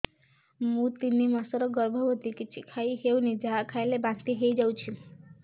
ମୁଁ ତିନି ମାସର ଗର୍ଭବତୀ କିଛି ଖାଇ ହେଉନି ଯାହା ଖାଇଲେ ବାନ୍ତି ହୋଇଯାଉଛି